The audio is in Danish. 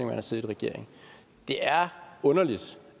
man har siddet i regering det er underligt